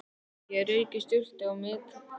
Ég rauk í sturtu á methraða.